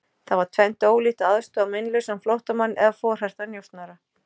Það var tvennt ólíkt að aðstoða meinlausan flóttamann eða forhertan njósnara.